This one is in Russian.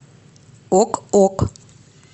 ок ок